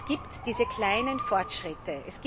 Es gibt diese kleinen Fortschritte.